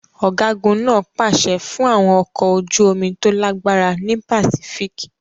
Ọ̀gágun náà pàṣẹ fún àwọn ọkọ̀ ojú omi tó lágbára ní Pacific.